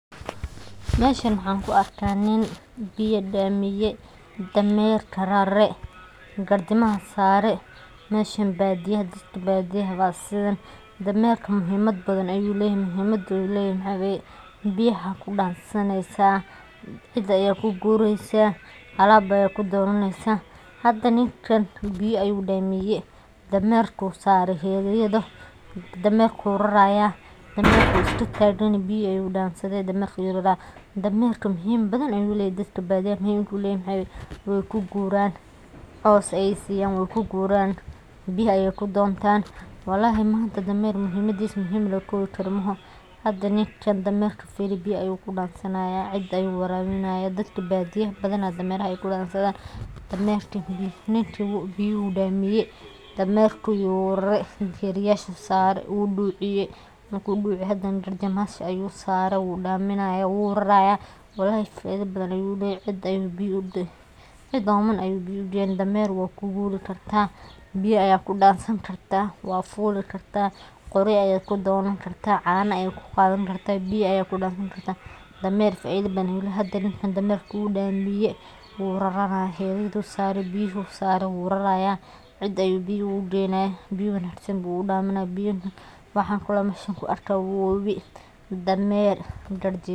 Meshan waxan kuu arka nin biya damiye damerka rare, garjimaha sare meshan badiyaha dadka badiyaha ba sidhan damerka muhimad badhan ayu leyahay muhimada uleyahay biyaha kudansaneysa, cida ayad kugureysa alab bad kudonaneysa hada ninkan biyo ayu damiye damerka usarey heryada damerka, ayu raraya damerka wuu iska taganyahay biyo ayu dansade damerka muhimada badhan ayu leyahay dadka badiyaha muhimada uu uleyahay maxa waye way kuguran cos ayay siyan way kuguran biyaha ,ayay kudontan walahi manta damer muhimadisa muhimad lamasokobi karo maahan hada ninkan firi damerka biyo ayu kudansanaya cida ayu warabinaya cida badiyaha badhana biya ayay kudansadhan damerka, ninka biyaha ayu damiyey damerka ayu rarey geryasha ayu sare wuu duciye marku duciye hadanah garjimahas ayu sarey wudaminaya wuu raraya dameerka faida badhan ayu leyahay cid oman ayu biya ugeyna damer wad kuguri karta biya ayad kudansani karta wad fuli karta qorya ayad kudonani karta cana ayad kuqadani karta biya, ayad kudansani karta damer faida badhan ayu leyahay hada ninkan damerka wuu damiyey biya uu raranaya heryada ayu sarey biyaha ayu sarey wuu raraya cida ayu biya ugeynaya, biyo wanagsan ayu udaminaya waxa kale mesha kuarkaya wowi damer.